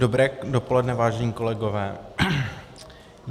Dobré dopoledne, vážení kolegové.